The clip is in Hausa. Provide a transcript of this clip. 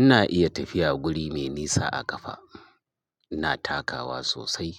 Ina iya tafiya guri mai nisa a ƙafa. Ina takawa sosai.